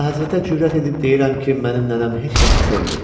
Əlahəzrətə cürət edib deyirəm ki, mənim nənəm heç kəsi sevmir.